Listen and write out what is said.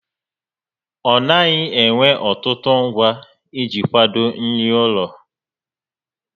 Ọ naghị ewe ọtụtụ ngwa iji kwado nri ụlọ